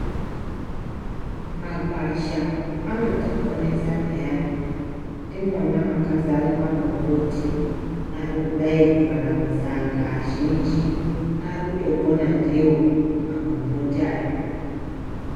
Magwasha anoti ponesa peyani ndimona maka zara magomboti arikudayi kuraramisa antu azhinji arikuto pona ndiwo magomboti aya.